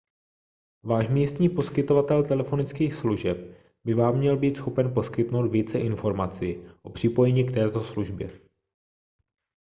váš místní poskytovatel telefonických služeb by vám měl být schopen poskytnout více informací o připojení k této službě